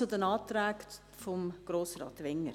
Zu den Anträgen von Grossrat Wenger: